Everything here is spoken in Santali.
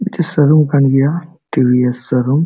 ᱢᱤᱫᱴᱮᱡ ᱥᱳᱨᱩᱢ ᱠᱟᱱ ᱜᱤᱭᱟ ᱴᱤᱹ ᱵᱷᱤᱹ ᱮᱥᱹ ᱥᱳᱨᱩᱢ ᱾